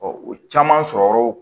o caman sɔrɔ yɔrɔw